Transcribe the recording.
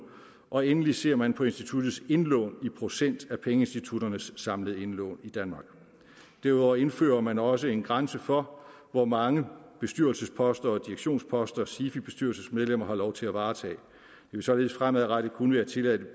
og endelig ser man på instituttets indlån i procent af pengeinstitutternes samlede indlån i danmark derudover indfører man også en grænse for hvor mange bestyrelsesposter og direktionsposter sifi bestyrelsesmedlemmer har lov til at varetage det vil således fremadrettet kun være tilladt